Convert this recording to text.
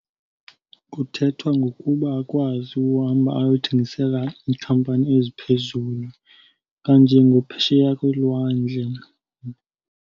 Kuthethwa ngokuba akwazi uhamba ayothengisela iikhampani eziphezulu kanjengaphesheya kolwandle.